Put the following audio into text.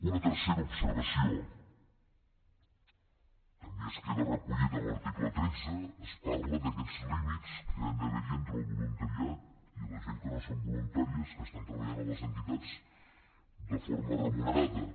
una tercera observació també es queda recollit a l’article tretze es parla d’aquests límits que hi han d’haver entre el voluntariat i la gent que no són voluntaris que estan treballant a les entitats de forma remunerada